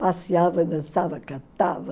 Passeava, dançava, cantava...